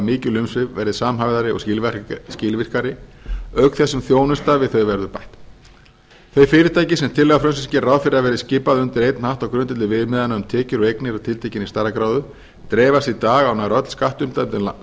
mikil umsvif verði samhæfðari og skilvirkari auk þess sem þjónusta við þau verður bætt þau fyrirtæki sem tillaga frumvarpsins gerir ráð fyrir að verði skipað undir einn hatt á grundvelli viðmiðana um tekjur og eignir af tiltekinni stærðargráðu dreifast í dag á nær öll